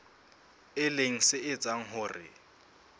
e leng se etsang hore